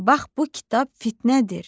bax bu kitab fitnədir.